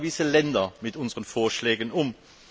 auch gewisse Länder mit unseren Vorschlägen um.